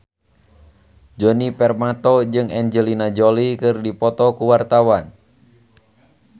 Djoni Permato jeung Angelina Jolie keur dipoto ku wartawan